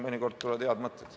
Mõnikord tulevad head mõtted.